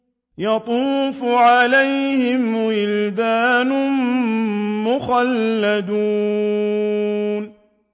يَطُوفُ عَلَيْهِمْ وِلْدَانٌ مُّخَلَّدُونَ